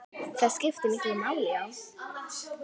Það skiptir miklu máli, já.